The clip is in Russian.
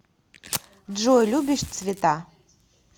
джой любишь цвета